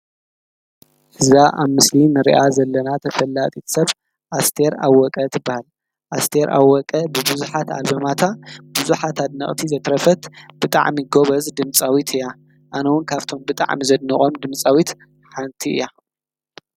እዛ ኣብ ምስሊ ንሪኣ ዘለና ተፈላጢት ሰብ ኣስቴር ኣወቀ ትበሃል ኣስቴር ኣወቀ ብቡዙሓት ኣልበማታ ብዙሓት ኣድነቅቲ ዘትረፈት ብጣዕሚ ጎበዝ ድምፃዊት እያ ኣነ እዉን ካብቶም ብጣዕሚ ዘድንቆም ድምፃዊት ሓንቲ እያ ።